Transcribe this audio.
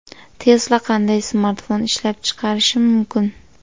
Tesla qanday smartfon ishlab chiqarishi mumkin?.